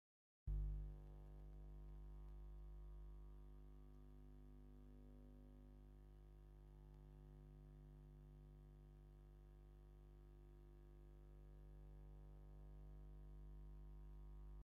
ፍሕኛ ብዝተፈላለዩ ዲዛይናትን ሕብርታት ዲኮር ዝስራሓሉ ኮይኑ፣ ንናይ መርዓ ሕቶን ክርስትና፣ መርዓን ካልኦት ዲኮር ዘድልዮም ባዓላትን ዝጠቅም ምኳኑ ትፈልጡ ዶ?